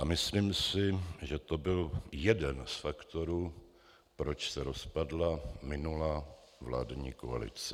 A myslím si, že to byl jeden z faktorů, proč se rozpadla minulá vládní koalice.